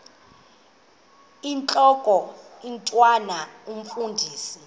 intlok omntwan omfundisi